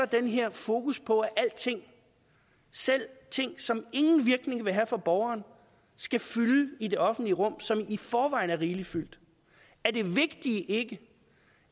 den her fokus på at alting selv ting som ingen virkning ville have for borgerne skal fylde i det offentlige rum som i forvejen er rigeligt fyldt er det vigtige ikke